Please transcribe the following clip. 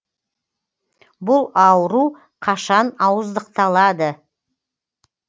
бұл ауру қашан ауыздықталады